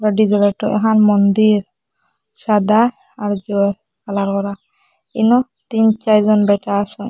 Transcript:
মন্দির সাদা আর কালার করা ইনো তিন চারজন ব্যাটা আসেন।